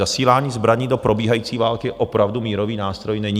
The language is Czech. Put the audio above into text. Zasílání zbraní do probíhající války opravdu mírový nástroj není.